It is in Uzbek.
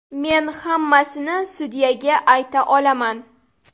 Men hammasini sudyaga ayta olaman.